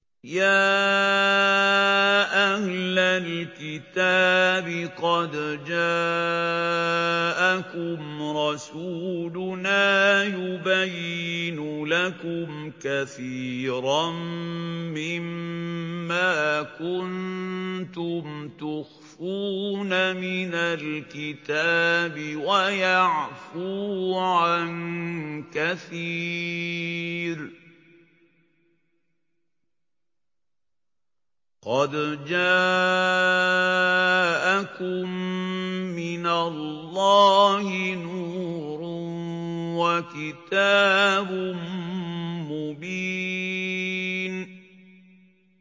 يَا أَهْلَ الْكِتَابِ قَدْ جَاءَكُمْ رَسُولُنَا يُبَيِّنُ لَكُمْ كَثِيرًا مِّمَّا كُنتُمْ تُخْفُونَ مِنَ الْكِتَابِ وَيَعْفُو عَن كَثِيرٍ ۚ قَدْ جَاءَكُم مِّنَ اللَّهِ نُورٌ وَكِتَابٌ مُّبِينٌ